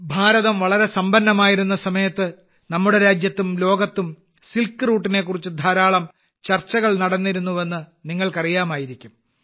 ഭാരതം വളരെ സമ്പന്നമായിരുന്ന സമയത്ത് നമ്മുടെ രാജ്യത്തും ലോകത്തും സിൽക്ക് റൂട്ടിനെ കുറിച്ച് ധാരാളം ചർച്ചകൾ നടന്നിരുന്നു എന്ന് നിങ്ങൾക്ക് അറിയാമായിരിക്കും